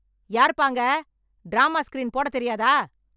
யாருப்பா அங்க, drama screen போட தெரியாதா?